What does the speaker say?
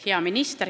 Hea minister!